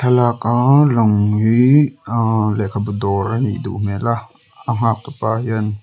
thlalak a lang hi a lehkhabu dawr anih duh hmel a a nghaktupa hian--